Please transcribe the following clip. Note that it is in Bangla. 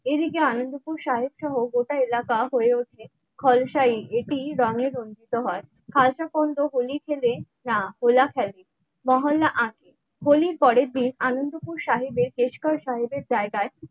এদিকে আনন্দপুর সাহেব সহ ও গোটা এলাকা হয়ে ওঠে খলসা এটি রঙে রঞ্জিত হয় খালসা তন্ত্র হোলি খেলে না হো লা খেলে মহল্লা আঁকে হোলির পরের দিন আনন্দপুর সাহেবের বেশ কর সাহেবের জায়গায়।